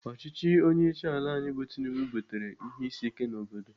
Ọchịchị ndị onyeisiala anyị bụ Tinubu butere ihe isi ike n'obodo.